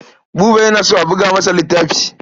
Buba yana so a buga masa littafi.